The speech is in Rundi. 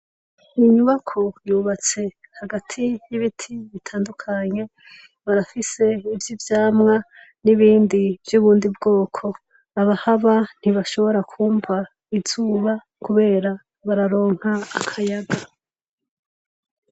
Inyubako yubatse hagati yibiti bitandukanye barafise nivyivyamwa n'ibindi vyubundi bwoko, abahaba ntibashobora kumva izuba kubera bararonka akayaga.